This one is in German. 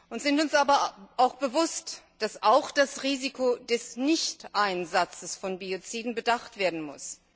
Wir sind uns aber bewusst, dass auch das Risiko des Nichteinsatzes von Bioziden bedacht werden muss.